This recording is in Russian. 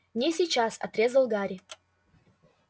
не сейчас отрезал гарри